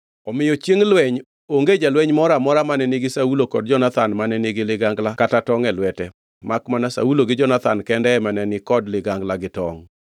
Omiyo chiengʼ lweny onge jalweny moro amora mane nigi Saulo kod Jonathan mane nigi ligangla kata tongʼ e lwete; makmana Saulo gi Jonathan kende ema ne ni kod ligangla gi tongʼ. Jonathan omonjo jo-Filistia